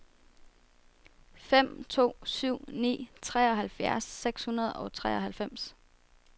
fem to syv ni treoghalvfjerds seks hundrede og treoghalvfems